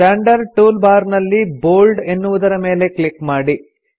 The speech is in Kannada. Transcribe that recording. ಸ್ಟಾಂಡರ್ಡ್ ಟೂಲ್ ಬಾರ್ ನಲ್ಲಿ ಬೋಲ್ಡ್ ಎನ್ನುವುದರ ಮೇಲೆ ಕ್ಲಿಕ್ ಮಾಡಿ